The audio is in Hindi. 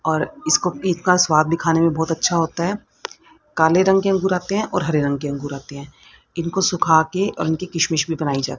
और इसको पिक का स्वाद दिखने में बहुत अच्छा होता है काले रंग के अंगूर आते हैं और हरे रंग के अंगूर आते हैं इनको सुखाकर और उनकी किशमिश भी बनाई जाति--